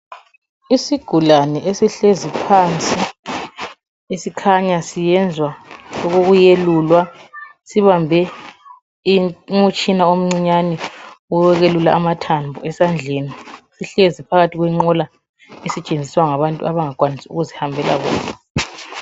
Isigulane esihlezi phansi esikhanya siyenza okokuyelulwa, sibambe umtshina omncinyane owokwelula amathambo esandleni. Sihlezi phakathi kwenqola esetshenziswa ngabantu abangakwanisi ukuzihambela bodwa.